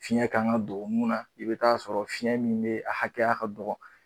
Fiɲɛ kan ka don min na i bɛ t'a sɔrɔ fiɲɛ min bɛ a hakɛya ka dɔgɔ